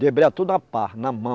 tudo na pá, na mão.